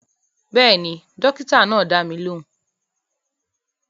Bẹ́ẹ̀ni, dókítà náà dá mi lóhùn